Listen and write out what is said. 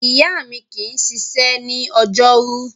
Ìyá mi kì í ṣiṣẹ́ ní ọjọ́rú.